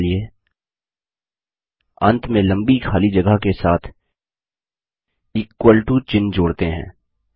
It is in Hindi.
अगला चलिए अंत में लंबी खाली जगह के साथ इक्वल टो चिह्न जोड़ते हैं